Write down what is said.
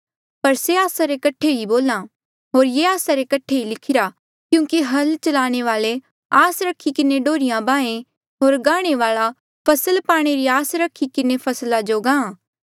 पर से आस्सा रे कठे ही बोल्हा होर ये आस्सा रे कठे ही लिखिरा क्यूंकि हल चलाणे वाल्आ आस रखी किन्हें डोहर्रिया बाहें होर गांहणे वाल्आ फसल पाणे री आस रखी किन्हें फसला जो गांहा